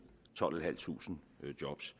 tolvtusinde